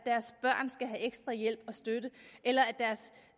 ekstra hjælp og støtte eller